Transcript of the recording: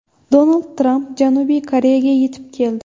Donald Tramp Janubiy Koreyaga yetib keldi.